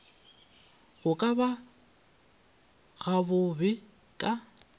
go ka ba gabobebe ka